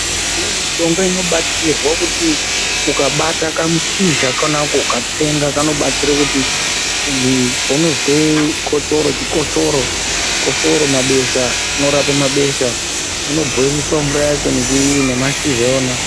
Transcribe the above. Mishonga inobatsira kuti ukabata kamushizha kana kukatsenga ukabatwa nechikosoro mabesha, chinorapa mabesha kana kukwatisa mashizha acho.